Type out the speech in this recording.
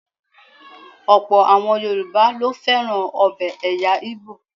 Ọ̀pọ̀ àwọn Yoruba ló fẹ́ràn ọbẹ̀ ẹ̀yà Igbo.